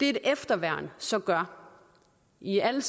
et efterværn så gør i alle